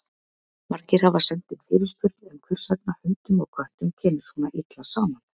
Margir hafa sent inn fyrirspurn um hvers vegna hundum og köttum kemur svona illa saman.